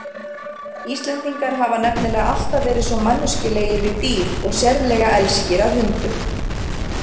Íslendingar hafa nefnilega alltaf verið svo manneskjulegir við dýr og sérlega elskir að hundum.